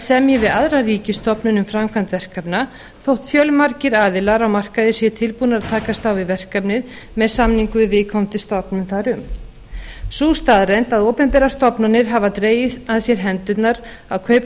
semji við aðra ríkisstofnun um framkvæmd verkefna þótt fjölmargir aðilar á markaði séu tilbúnir að takast á við verkefnið með samningum við viðkomandi stofnun sú staðreynd að opinberar stofnanir hafa dregið að sér hendurnar að kaupa þjónustu